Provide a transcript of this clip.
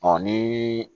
Ɔ ni